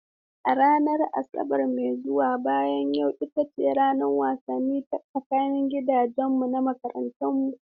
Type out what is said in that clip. A ranar Asabar mai zuwa bayan yau ita ce ranar wasanni ta tsakanin gidajenmu na makarantarmu.